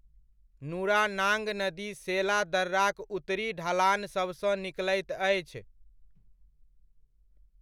नुरानांग नदी सेला दर्राक उत्तरी ढलान सभसँ निकलैत अछि।